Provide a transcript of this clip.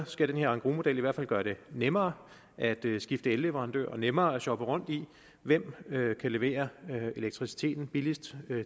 skal engrosmodellen i hvert fald gøre det nemmere at skifte elleverandør og nemmere at shoppe rundt i hvem der kan levere elektricitet billigst